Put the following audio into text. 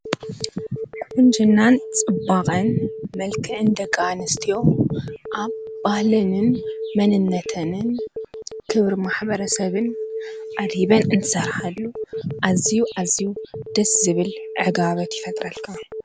ቁንጅናን ፅባቀን መልክዕን ደቂ ኣንስትዮ ኣብ ባህለንን መንነተንን ክብሪ ማሕበረሰብን ኣድሂበን እንትሰርሓሉ ኣዝዩ ኣዝዩ ደስ ዝብል ዕጋበት ይፈጥረልካ።